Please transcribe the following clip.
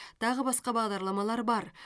тағы басқа бағдарламалар бар